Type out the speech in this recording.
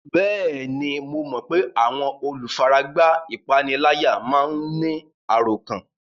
Bẹ́ẹ̀ni, mo mọ pé àwọn olùfaragbá ìpániláyà máa ń ní àròkán